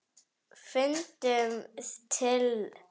Fundum til.